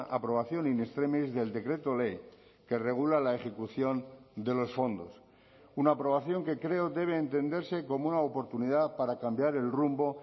aprobación in extremis del decreto ley que regula la ejecución de los fondos una aprobación que creo debe entenderse como una oportunidad para cambiar el rumbo